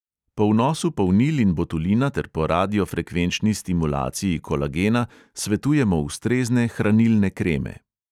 Po vnosu polnil in botulina ter po radiofrekvenčni stimulaciji kolagena svetujemo ustrezne hranilne kreme.